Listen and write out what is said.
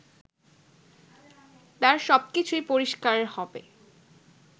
তার সবকিছুই পরিষ্কার হবে